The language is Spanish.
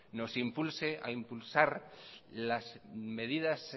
nos impulse a impulsar las medidas